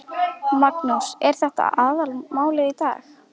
Magnús: Er þetta aðalmálið í dag?